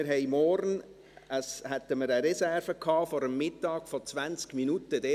Das heisst, wir hätten morgen vor dem Mittag eine Reserve von 20 Minuten gehabt.